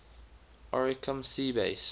oricum sea base